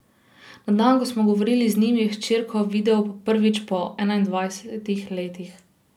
Na dan, ko smo govorili z njim, je hčerko videl prvič po enaindvajsetih letih.